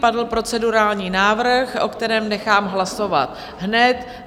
Padl procedurální návrh, o kterém nechám hlasovat hned.